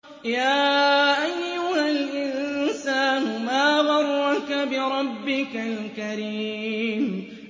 يَا أَيُّهَا الْإِنسَانُ مَا غَرَّكَ بِرَبِّكَ الْكَرِيمِ